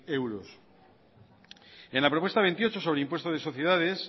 euros en la propuesta veintiocho sobre el impuesto de sociedades